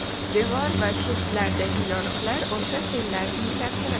Devor va shiftlardagi yoriqlar o‘sha sellarning ta’siri.